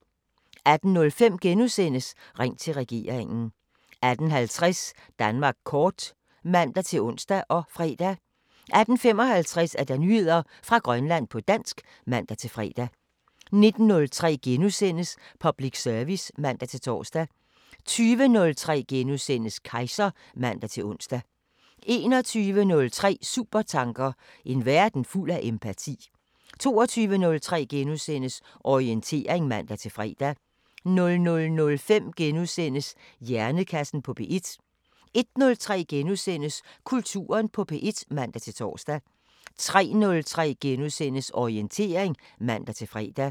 18:05: Ring til regeringen * 18:50: Danmark kort (man-ons og fre) 18:55: Nyheder fra Grønland på dansk (man-fre) 19:03: Public service *(man-tor) 20:03: Kejser *(man-ons) 21:03: Supertanker: En verden fuld af empati 22:03: Orientering *(man-fre) 00:05: Hjernekassen på P1 * 01:03: Kulturen på P1 *(man-tor) 03:03: Orientering *(man-fre)